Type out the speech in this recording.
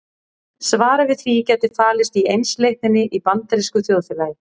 Svarið við því gæti falist í einsleitninni í bandarísku þjóðfélagi.